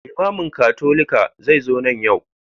Limamin Katolika zai zo nan yau.